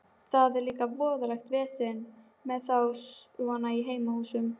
Það er líka voðalegt vesen með þá svona í heimahúsum.